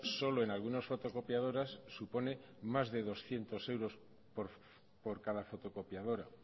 solo en algunas fotocopiadoras supone más de doscientos euros por cada fotocopiadora